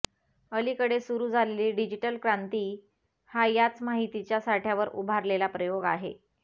अलिकडे सुरु झालेली डिजीटल क्रांती हा याच माहितीच्या साठ्यावर उभारलेला प्रयोग आहे